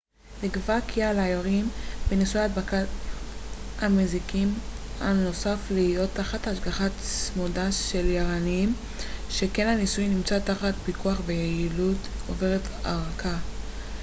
נקבע כי על היורים בניסוי הדברת המזיקים הנוסף להיות תחת השגחה צמודה של יערנים שכן הניסוי נמצא תחת פיקוח ויעילותו עוברת הערכה